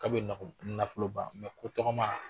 Ka bɛ nafolo ban ko tɔgɔma.